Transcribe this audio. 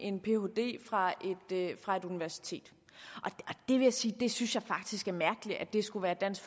en phd fra universitet det vil jeg sige jeg synes faktisk er mærkeligt at det skulle være dansk